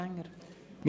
der SiK.